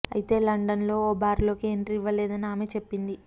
అయితే లండన్ లో ఓ బార్ లోకి ఎంట్రీ ఇవ్వలేదని ఆమె చెప్పింది